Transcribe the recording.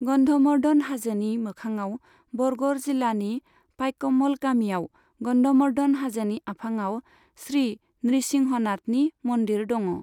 गन्धमर्धन हाजोनि मोखाङाव बरगर जिल्लानि पाइकमल खाथियाव गन्धमर्धन हाजोनि आफाङाव श्री नृसिंहनाथनि मन्दिर दङ।